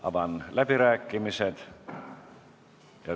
Avan läbirääkimised.